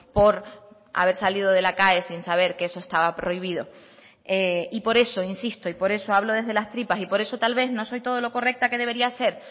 por haber salido de la cae sin saber que eso estaba prohibido y por eso insisto y por eso hablo desde las tripas y por eso tal vez no soy todo lo correcta que debería ser